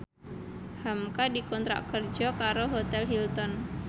hamka dikontrak kerja karo Hotel Hilton